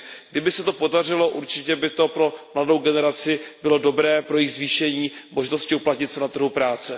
Kdyby se to podařilo, určitě by to pro mladou generaci bylo dobré pro zvýšení možnosti uplatnit se na trhu práce.